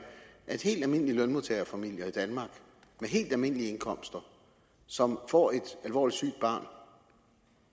at helt almindelige lønmodtagerfamilier i danmark med helt almindelige indkomster som får et alvorligt sygt barn